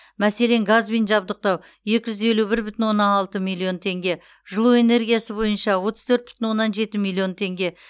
мәселен газбен жабдықтау екі жүз елу бір бүтін оннан алты миллион теңге жылу энергиясы бойынша отыз төрт бүтін оннан жеті миллион теңге